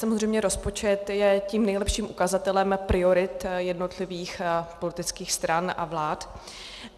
Samozřejmě rozpočet je tím nejlepším ukazatelem priorit jednotlivých politických stran a vlád.